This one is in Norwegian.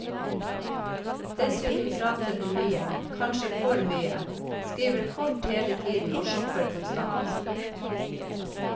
Dessuten prater hun mye, kanskje for mye, skriver kort hele tiden og shopper konstant.